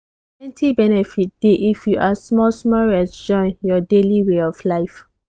plenty benefit dey if you add small-small rest join your daily way of life.